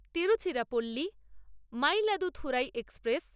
Tiruchirappalli Mayiladuthurai express